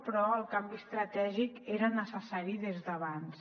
però el canvi estratègic era necessari des d’abans